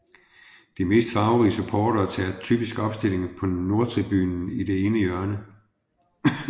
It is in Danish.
De mest farverige supportere tager typisk opstilling på Nordtribunen i det ene hjørne